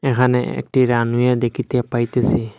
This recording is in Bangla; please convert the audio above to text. এখানে একটি রানওয়ে দেখিতে পাইতেসি।